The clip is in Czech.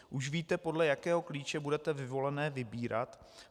Už víte, podle jakého klíče budete vyvolené vybírat?